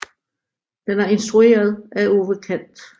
Den er instrueret af Ove Kant